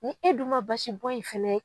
Ni e dun ma basibɔn in fɛnɛ